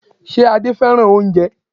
Ṣe Adé fẹ́ràn oúnjẹ?